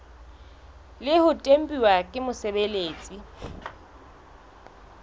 le ho tempuwa ke mosebeletsi